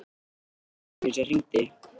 Það var systir mín sem hringdi.